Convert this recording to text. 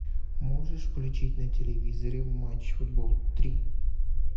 можешь включить на телевизоре матч футбол три